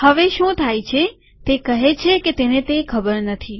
હવે શું થાય છે તે કહે છે કે તેને તે ખબર નથી